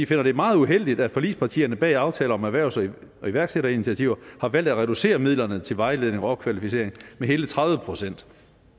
finder det meget uheldigt at forligspartierne bag aftale om erhvervs og iværksætterinitiativer har valgt at reducere midlerne til vejledning og opkvalificering med hele tredive procent